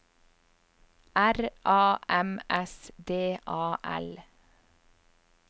R A M S D A L